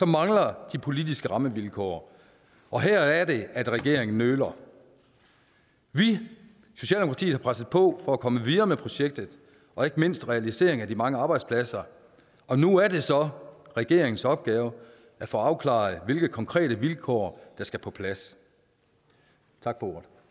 mangler de politiske rammevilkår og her er det at regeringen nøler vi i socialdemokratiet har presset på for at komme videre med projektet og ikke mindst realiseringen af de mange arbejdspladser og nu er det så regeringens opgave at få afklaret hvilke konkrete vilkår der skal på plads tak